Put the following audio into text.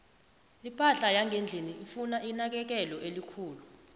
iphahla yangendlini ifuna inakekelo elikhulu